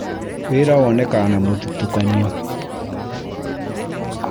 Wĩra wonekaga na mũthutũkanio